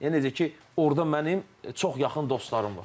Yəni necə ki, orda mənim çox yaxın dostlarım var.